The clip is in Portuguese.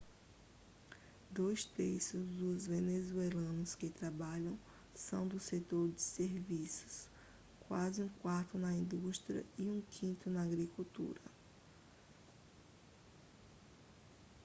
dois terços dos venezuelanos que trabalham são do setor de serviços quase um quarto na indústria e um quinto na agricultura